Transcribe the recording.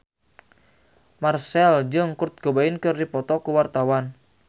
Marchell jeung Kurt Cobain keur dipoto ku wartawan